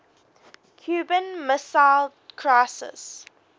cuban missile crisis